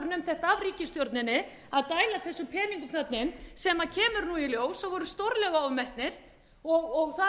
af ríkisstjórninni að dæla þessum peningum þarna inn sem kemur í ljós að voru stórlega ofmetnir og þar